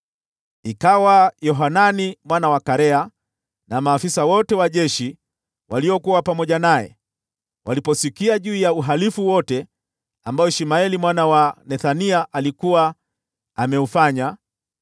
Yohanani mwana wa Karea na maafisa wote wa jeshi waliokuwa pamoja naye waliposikia juu ya uhalifu wote ambao Ishmaeli mwana wa Nethania alikuwa ameufanya,